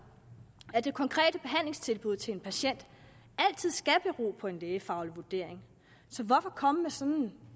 at det konkrete behandlingstilbud til en patient altid skal bero på en lægefaglig vurdering så hvorfor komme med sådan nogle